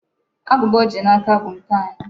Agụba o ji n'aka bụ nke anyị.